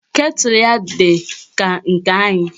Ketụlụ ya dị ka nke anyị